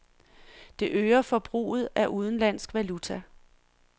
Det øger forbruget af udenlandsk valuta.